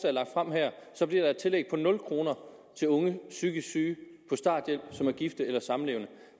er lagt frem her bliver et tillæg på nul kroner til unge psykisk syge på starthjælp som er gift eller samlevende